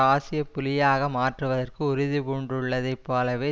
ஆசிய புலியாக மாற்றுவதற்கு உறுதி பூண்டுள்ளதைப் போலவே